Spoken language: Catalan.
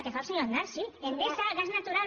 que fa el senyor aznar sí endesa gas natural